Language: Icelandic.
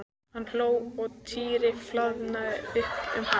Hann hló og Týri flaðraði upp um hann.